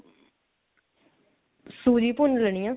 ਸੂਜੀ ਭੁੰਨ ਲੇਣੀ ਐ